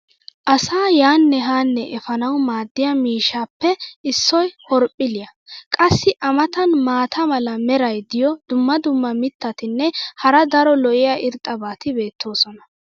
asaa yaanne haanne efaanawu maadiya miishshaappe issoy horoophiliya. qassi a matan maata mala meray diyo dumma dumma mitatinne hara daro lo'iya irxxabati beetoosona.